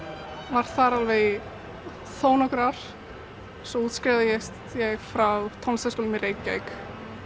var þar alveg í þó nokkur ár svo útskrifaðist ég frá tónlistarskólanum í Reykjavík